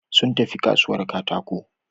Sun tafi kasuwar katako.